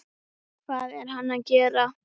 Hvað er hann að gera?